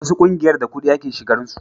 wasu ƙungiyar da kudi ake shigan su